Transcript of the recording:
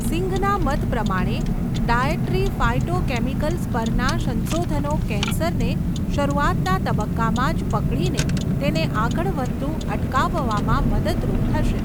સિંઘના મત પ્રમાણે, dietary phytochemicals પરનાં સંશોધનો કેન્સરને શરૂઆતના તબક્કામાં જ પકડીને તેને આગળ વધતું અટકાવવામાં મદદરૂપ થશે.